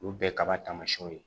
Olu ye kaba taamasiyɛnw ye